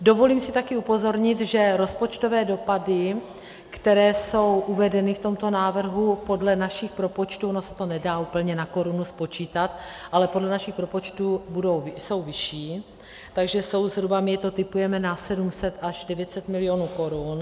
Dovolím si také upozornit, že rozpočtové dopady, které jsou uvedeny v tomto návrhu podle našich propočtů, ono se to nedá úplně na korunu spočítat, ale podle našich propočtů jsou vyšší, takže jsou zhruba, my to tipujeme na 700 až 900 milionů korun.